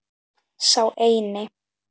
Sá eini.